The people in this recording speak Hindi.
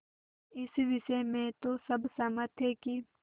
इस विषय में तो सब सहमत थे कि